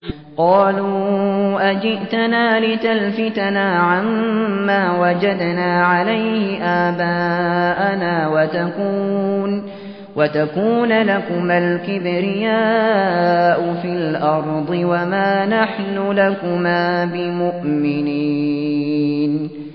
قَالُوا أَجِئْتَنَا لِتَلْفِتَنَا عَمَّا وَجَدْنَا عَلَيْهِ آبَاءَنَا وَتَكُونَ لَكُمَا الْكِبْرِيَاءُ فِي الْأَرْضِ وَمَا نَحْنُ لَكُمَا بِمُؤْمِنِينَ